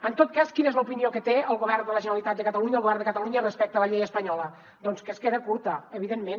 en tot cas quina és l’opinió que té el govern de la generalitat de catalunya el govern de catalunya respecte a la llei espanyola doncs que es queda curta evidentment